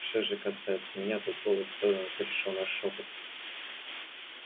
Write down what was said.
что же касается меня тут голос сэлдона перешёл на шёпот